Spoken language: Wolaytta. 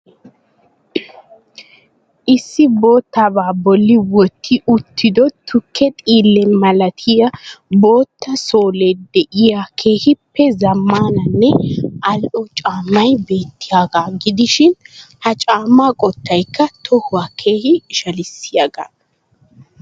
Issi boottabaa bolli wotti uttido tukke xiille malattiya bootta soolee diyo keehiippe zamaannanne al'o caammay beetyiyaagaa gidishin ha caammaa qottaykka tohuwaa keehi ishalisiyaagaa.